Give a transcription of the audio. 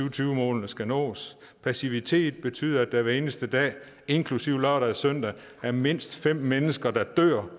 og tyve målene skal nås passivitet betyder at der hver eneste dag inklusive lørdag og søndag er mindst fem mennesker der dør